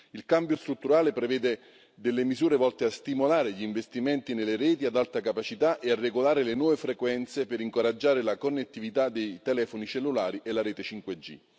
Il cambio strutturale prevede delle misure volte a stimolare gli investimenti nelle reti ad alta capacità e a regolare le nuove frequenze per incoraggiare la connettività dei telefoni cellulari e la rete 5G.